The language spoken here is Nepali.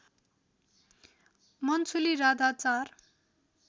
मन्सुली राधा चार